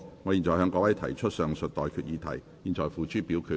我現在向各位提出上述待決議題，付諸表決。